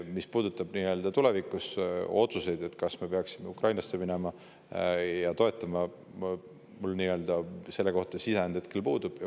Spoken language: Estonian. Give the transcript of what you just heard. Mis puudutab tulevikuotsuseid, kas me peaksime Ukrainasse minema ja teda nii toetama, siis mul selle kohta sisend hetkel puudub.